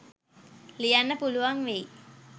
ලියන්න පුළුවන් වෙයි.